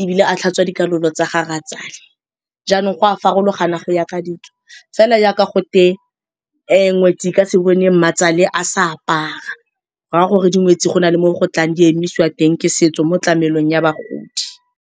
ebile a tlhatswa dikalolo tsa ga rratswale. Jaanong go a farologana go ya ka ditso, fela jaaka gote ngwetsi e ka se bone mmatswale a sa apara go ra gore dingwetsi go na le mo go tlang di emisiwang ke setso mo tlamelong ya bagodi.